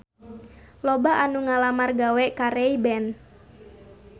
Loba anu ngalamar gawe ka Ray Ban